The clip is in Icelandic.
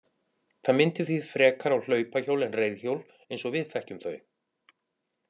Það minnti því frekar á hlaupahjól en reiðhjól eins og við þekkjum þau.